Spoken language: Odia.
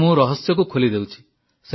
ତେଣୁ ମୁଁ ରହସ୍ୟକୁ ଖୋଲି ଦେଉଛି